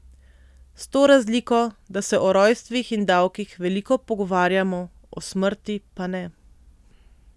S to razliko, da se o rojstvih in davkih veliko pogovarjamo, o smrti pa ne.